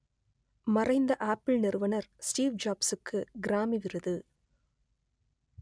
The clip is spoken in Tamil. மறைந்த ஆப்பிள் நிறுவனர் ஸ்டீவ் ஜாப்சுக்கு கிராமி விருது